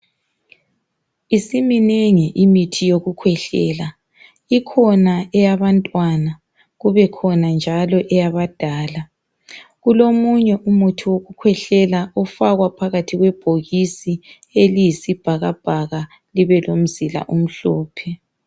Isiminengi imithi yokukhwehlela, ikhona eyabantwana kubekhona njalo eyabadala. Kulomunye umuthi wokukhwehlela ofakwa phakathi kwebhokisi eliyisibhakabhaka libelomzila omhlophe.